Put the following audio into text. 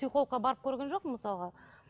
психологқа барып көрген жоқпын мысалға